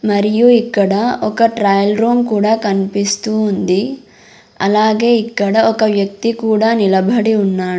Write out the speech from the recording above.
మరియు ఇక్కడ ఒక ట్రయల్ రూమ్ కూడా కన్పిస్తూ ఉంది అలాగే ఇక్కడ ఒక వ్యక్తి కూడా నిలబడి ఉన్నాడ్.